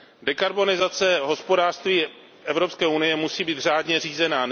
Dekarbonizace hospodářství Evropské unie musí být řádně řízená.